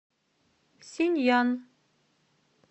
синъян